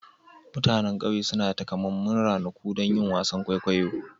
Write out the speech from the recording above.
Mutanen ƙauye suna da takamaiman ranaku don yin wasan kwaikwayo.